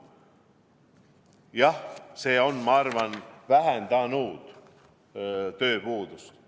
Jah, see on, ma arvan, vähendanud tööpuudust.